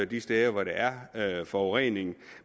de steder hvor der er forurening